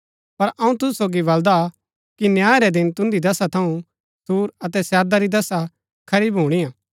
पर अऊँ तुसु सोगी बलदा कि न्याय रै दिन तुन्दी दशा थऊँ सूर अतै सैदा री दशा खरी भुणीआ हा